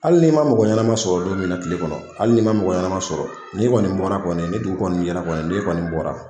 Hali n'i man mɔgɔ ɲanama sɔrɔ don min na kile kɔnɔ hali n'i man mɔgɔ ɲanama sɔrɔ n'i kɔni bɔra kɔni ni dugu kɔni jɛra kɔni n'i kɔni bɔra